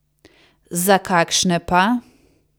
Za kakšne pa?